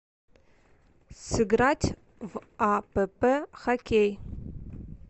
сыграть в апп хоккей